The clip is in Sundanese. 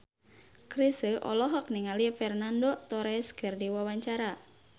Chrisye olohok ningali Fernando Torres keur diwawancara